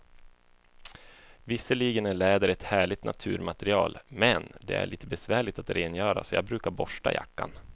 Visserligen är läder ett härligt naturmaterial, men det är lite besvärligt att rengöra, så jag brukar borsta jackan.